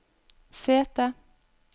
sete